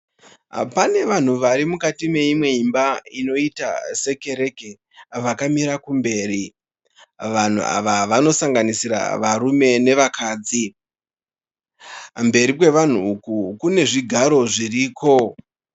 Pane vanhu varimukati meimwe meimba inoita sekereke vakamira kumberi. Vanhu ava vanosanganisira varume nevakadzi. Mberi kwevanhu uku, kune zvigaro zviriko.